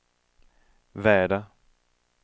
väder